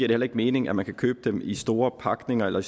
det heller ikke mening at man kan købe dem i så store pakninger eller i